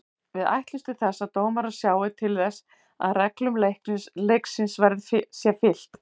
Við ætlumst til þess að dómarar sjái til þess að reglum leiksins sé fylgt.